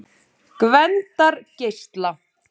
Gvendargeisla